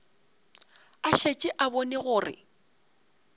a šetše a bone gore